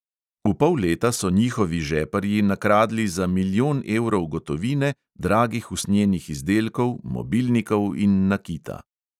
V pol leta so njihovi žeparji nakradli za milijon evrov gotovine, dragih usnjenih izdelkov, mobilnikov in nakita.